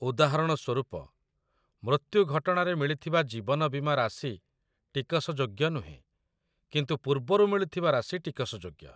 ଉଦାହରଣ ସ୍ୱରୂପ, ମୃତ୍ୟୁ ଘଟଣାରେ ମିଳିଥିବା ଜୀବନ ବୀମା ରାଶି ଟିକସଯୋଗ୍ୟ ନୁହେଁ, କିନ୍ତୁ ପୂର୍ବରୁ ମିଳିଥିବା ରାଶି ଟିକସଯୋଗ୍ୟ।